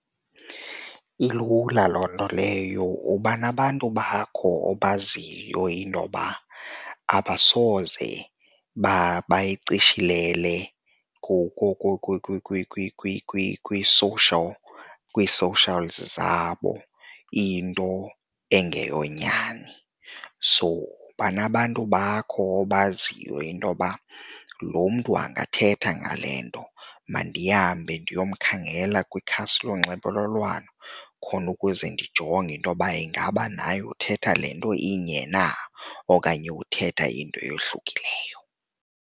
Ilula loo nto leyo. Uba nabantu bakho obaziyo intoba abasoze bayicishilele kwi-social kwii-socials zabo into ezingeyonyani. So uba nabantu bakho obaziyo intoba lo mntu angathetha ngale nto mandihambe ndiyokhangela kwikhasi lonxibelelwano khona ukuze ndijonge intoba ingaba naye uthetha le nto inye na okanye uthetha into eyohlukileyo.